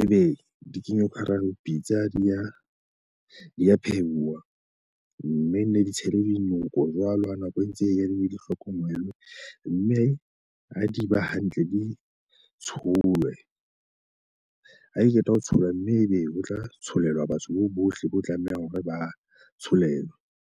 Ebe di kenyo ka hara pitsa di a di a phehuwa. Mme nne di tshelwe dinoko jwalo ha nako e ntse e ya, di hlokomelwe. Mme ha di ba hantle di tsholwe. Ha ke qeta ho tsholwa mme ebe ho tla tsholelwa batho bohle bo tlameha hore ba tsholelwa.